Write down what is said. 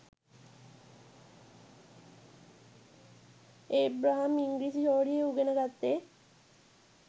Abraham ඉංග්‍රීසි හෝඩිය උගෙන ගත්තේ